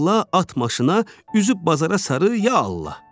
bağla, at maşına, üzü bazara sarı ya Allah!